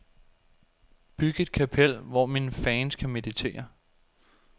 Byg et kapel, hvor mine fans kan meditere.